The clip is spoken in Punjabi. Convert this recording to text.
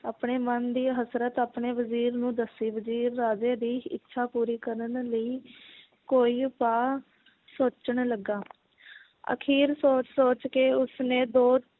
ਆਪਣੇ ਮਨ ਦੀ ਹਸਰਤ ਆਪਣੇ ਵਜ਼ੀਰ ਨੂੰ ਦੱਸੀ ਵਜ਼ੀਰ ਰਾਜੇ ਦੀ ਇੱਛਾ ਪੂਰੀ ਕਰਨ ਲਈ ਕੋਈ ਉਪਾਅ ਸੋਚਣ ਲੱਗਾ ਅਖੀਰ ਸੋਚ ਸੋਚ ਕੇ ਉਸਨੇ ਦੋ